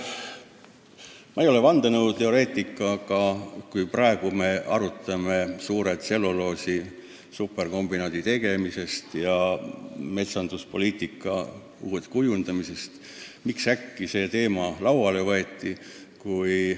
Ma ei ole vandenõuteoreetik, aga kui me praegu arutame tselluloosi superkombinaadi tegemist ja uue metsanduspoliitika kujundamist, siis miks äkki see teema lauale võeti?